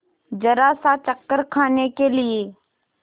जरासा चक्कर खाने के लिए